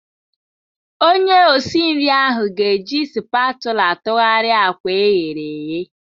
Onye osi nri ahụ ga-eji spatula tụgharịa akwa eghere eghe.